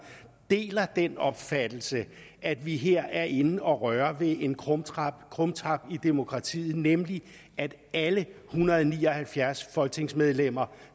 deler den opfattelse at vi her er inde og røre ved en krumtap krumtap i demokratiet nemlig at alle en hundrede og ni og halvfjerds folketingsmedlemmer